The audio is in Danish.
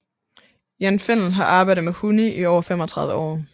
Jan Fennell har arbejdet med hunde i over 35 år